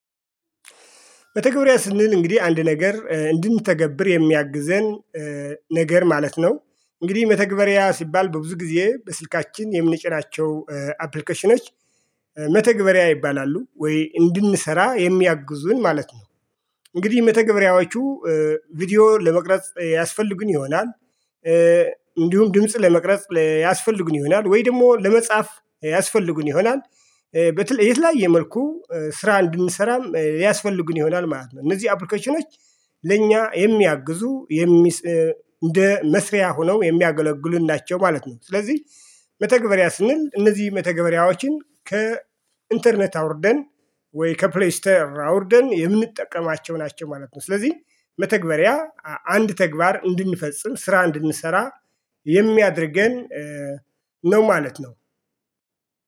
መተግበሪያ ስንል እንግዲህ አንድ ነገር እንድንተገብር የሚያግዘን ነገር ማለት ነው። እንግዲህ መተግበሪያ ሲባል በብዙ ጊዜ በስልካችን የምንጭራናቸው አፕሊኬሽኖች መተግበሪያ ይባላሉ ወይ እንድንሰራ የሚያግዙን ማለት ነው። እንግዲህ መተግበሪያዎቹ ቪዲዮ ለመቅረጽ ያስፈልጉን ይሆናል። እንዲሁም ድምጽ ለመቅረጽ ያስፈልጉን ይሆናል ወይ ደግሞ ለመጻፍ ያስፈልጉን ይሆናል። በተለይ የተለያየ መልኩ ስራ እንድንሰራም ያስፈልጉን ይሆናል ማለት ነው እነዚህ አፕሊኬሽኖች ለእኛ የሚያግዙ የሚ እንደ መስሪያ ሆነው የሚያገለግሉን ናቸው ማለት ነው። ስለዚህ መተግበሪያ ስንል እነዚህ መተግበሪያዎችን ከኢንተርኔት አውርደን ወይ ከፕሌይስተር አውርደን የምንጠቀማቸው ናቸው ማለት ነው። ስለዚህ መተግበሪያ አንድ ተግባር እንድንፈጽም ስራ እንድንሰራ የሚያደርገን ነው ማለት ነው